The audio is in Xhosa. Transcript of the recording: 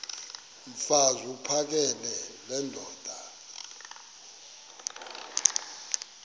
mfaz uphakele nendoda